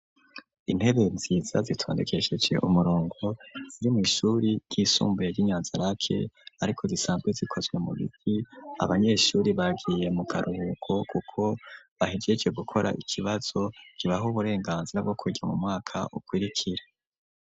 intebe nziza zitondekesheje umurongo ziri mu ishuri ry'isumbuye ry'inyanzirake ariko zisanzwe zikozwe mu biti abanyeshuri bagiye mu karuhuko kuko bahegece gukora ikibazo gibaho uburenganzira bwo kuja mu mwaka ukirikira.